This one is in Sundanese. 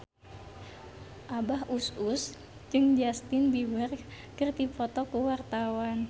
Abah Us Us jeung Justin Beiber keur dipoto ku wartawan